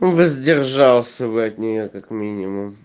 воздержался бы от нее как минимум